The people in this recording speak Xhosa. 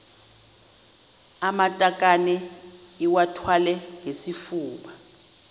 amatakane iwathwale ngesifuba